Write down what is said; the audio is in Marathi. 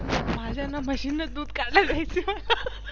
माझ्या न म्हशीना दूध काढायला येजो.